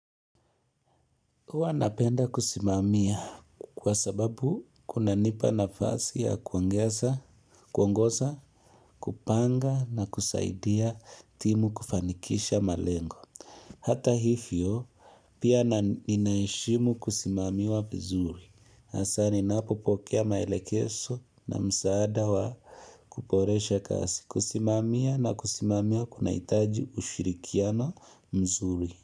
Uwa napenda kusimamia kwa sababu kuna nipa nafasi ya kuongeza, kuongoza, kupanga na kusaidia timu kufanikisha malengo. Hata hifio pia ninaheshimu kusimamiwa vizuri. Hasani napopokea maelekezo na msaada wa kuboresha kazi. Kusimamia na kusimamia kuna itaji ushirikiano mzuri.